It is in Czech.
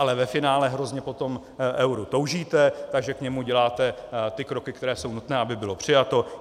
Ale ve finále hrozně po tom euru toužíte, takže k němu děláte kroky, které jsou nutné, aby bylo přijato.